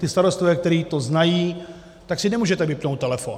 Ti starostové, kteří to znají, tak si nemůžete vypnout telefon.